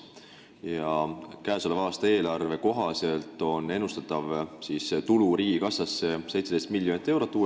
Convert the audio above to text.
Ja käesoleva aasta eelarve kohaselt on uuest maksust ennustatav tulu riigikassasse 17 miljonit eurot.